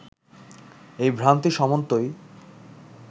এই ভ্রান্তি সমন্তই